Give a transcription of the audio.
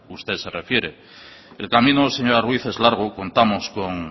usted se refiere el camino señora ruíz es largo contamos con